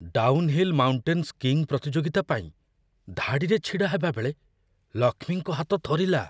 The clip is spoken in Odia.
ଡାଉନ୍‌ହିଲ୍ ମାଉଣ୍ଟେନ୍ ସ୍କିଇଙ୍ଗ୍ ପ୍ରତିଯୋଗିତା ପାଇଁ ଧାଡ଼ିରେ ଛିଡ଼ାହେବା ବେଳେ ଲକ୍ଷ୍ମୀଙ୍କ ହାତ ଥରିଲା।